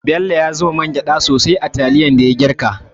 Bello ya zuba mangyda sosai a taliyar da ya girka.